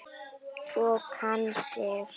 Og kann sig.